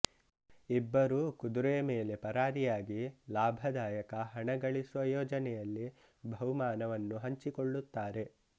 ಇಬ್ಬರೂ ಕುದುರೆ ಮೇಲೆ ಪರಾರಿಯಾಗಿ ಲಾಭದಾಯಕ ಹಣಗಳಿಸುವ ಯೋಜನೆಯಲ್ಲಿ ಬಹುಮಾನವನ್ನು ಹಂಚಿಕೊಳ್ಳುತ್ತಾರೆ